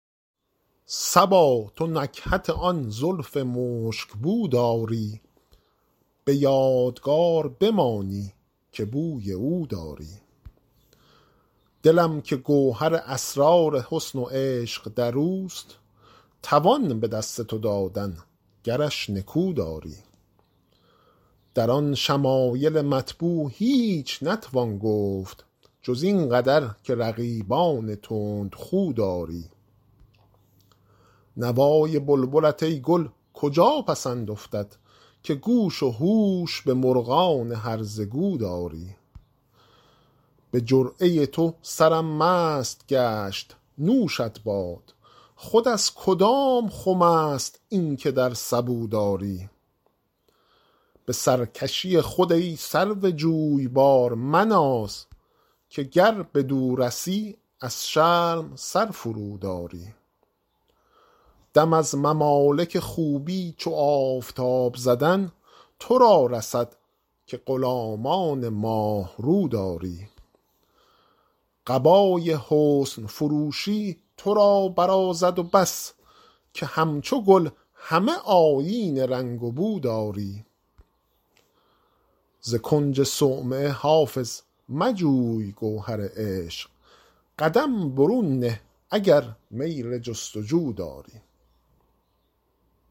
صبا تو نکهت آن زلف مشک بو داری به یادگار بمانی که بوی او داری دلم که گوهر اسرار حسن و عشق در اوست توان به دست تو دادن گرش نکو داری در آن شمایل مطبوع هیچ نتوان گفت جز این قدر که رقیبان تندخو داری نوای بلبلت ای گل کجا پسند افتد که گوش و هوش به مرغان هرزه گو داری به جرعه تو سرم مست گشت نوشت باد خود از کدام خم است این که در سبو داری به سرکشی خود ای سرو جویبار مناز که گر بدو رسی از شرم سر فروداری دم از ممالک خوبی چو آفتاب زدن تو را رسد که غلامان ماه رو داری قبای حسن فروشی تو را برازد و بس که همچو گل همه آیین رنگ و بو داری ز کنج صومعه حافظ مجوی گوهر عشق قدم برون نه اگر میل جست و جو داری